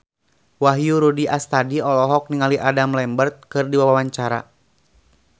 Wahyu Rudi Astadi olohok ningali Adam Lambert keur diwawancara